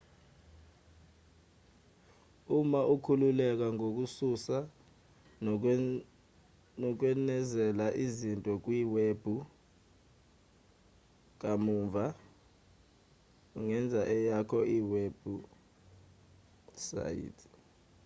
uma ukhululeka ngokususa nokwenezela izinto kuyiwebhu kamuva ungenza eyakho iwebhusayithi